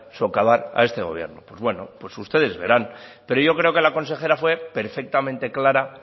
socavar a este gobierno pues bueno pues ustedes verán pero yo creo que la consejera fue perfectamente clara